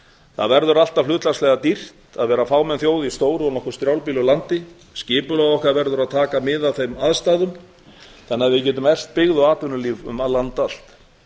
það verður alltaf hlutfallslega dýrt að vera fámenn þjóð í stóru og nokkuð strjálbýlu landi skipulag okkar verður að taka mið af þeim aðstæðum þannig að við getum eflt byggð og atvinnulíf um land allt